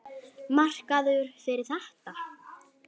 Markaður fyrir þetta?